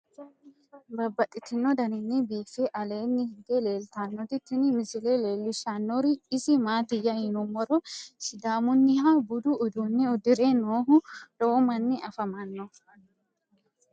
Babaxxittinno daninni biiffe aleenni hige leelittannotti tinni misile lelishshanori isi maattiya yinummoro sidaamunniha buddu uudunne udirre noohu lowo manni afammanno.